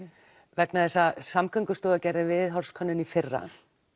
vegna þess að Samgöngustofa gerði viðhorfskönnun í fyrra